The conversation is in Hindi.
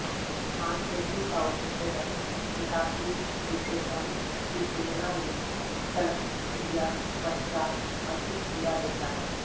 मांसपेशियों का उच्छेदन निकासीरिसेशन की तुलना में शल्यक्रिया पश्चात् अधिक पीड़ा देता है